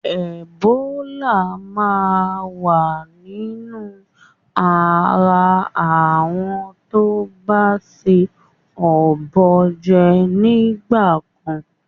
Ẹ̀bólà máa wa nínú ara àwọn tó ba se ọ̀bọ jẹ nígbà kan.